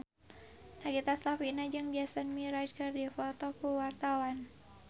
Nagita Slavina jeung Jason Mraz keur dipoto ku wartawan